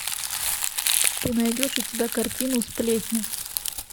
ты найдешь у себя картину сплетни